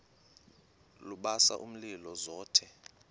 lubasa umlilo zothe